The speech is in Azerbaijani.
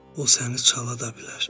O səni çala da bilər.